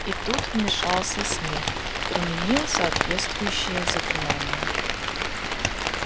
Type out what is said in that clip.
и тут вмешался снегг применил соответствующее заклинание